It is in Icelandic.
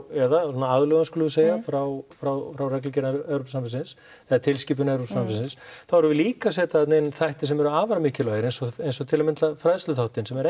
eða svona aðlögun skulum við segja frá frá frá reglugerðum Evrópusambandsins eða tilskipun Evrópusambandsins þá erum við líka að setja þarna inn þætti sem eru afar mikilvægir eins og eins og til að mynda fræðsluþáttinn sem er